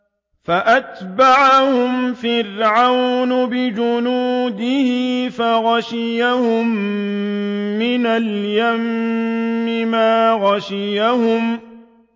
فَأَتْبَعَهُمْ فِرْعَوْنُ بِجُنُودِهِ فَغَشِيَهُم مِّنَ الْيَمِّ مَا غَشِيَهُمْ